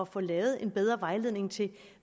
få lavet en bedre vejledning til